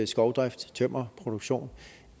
skovdrift tømmerproduktion